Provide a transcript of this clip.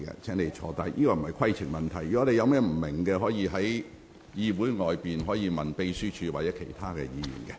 這並非規程問題，如果你有不明白之處，可在會議後向秘書處查詢。